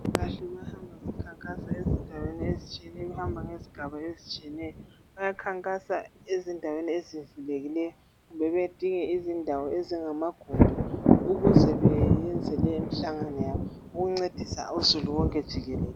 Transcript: Abezempilakahle bahamba bekhankasa ezindaweni ezitshiyeneyo behamba ngezigaba ezitshiyeneyo .Bayakhankasa ezindaweni eziyehlulekileyo kumbe bedinge izindawo ezingamagumbi ukuze beyenze leyo mhlangano yabo ukuncedisa uzulu wonke jikelele .